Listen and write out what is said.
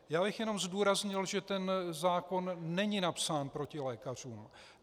Já bych jenom zdůraznil, že ten zákon není napsán proti lékařům.